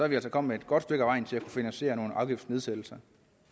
vi altså kommet et godt stykke ad vejen til at få finansieret nogle afgiftsnedsættelser